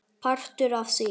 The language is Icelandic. Partur af því?